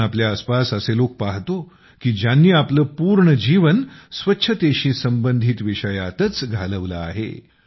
आम्ही आपल्या आसपास असे लोक पहातो की ज्यांनी आपलं पूर्ण जीवन स्वच्छतेशी संबंधित विषयातच घालवलं आहे